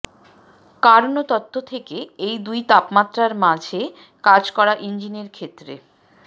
Karnaugh তত্ত্ব থেকে এই দুই তাপমাত্রার মাঝে কাজ করা ইঞ্জিনের ক্ষেত্রে